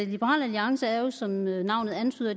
liberal alliance jo som navnet antyder